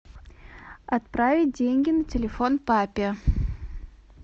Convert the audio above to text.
отправить деньги на телефон папе